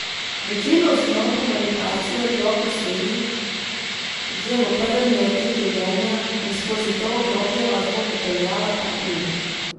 Večino osnov komunikacije otrok usvoji že v prvem letu življenja in skozi to obdobje vas bo popeljala ta knjiga.